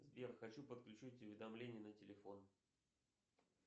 сбер хочу подключить уведомления на телефон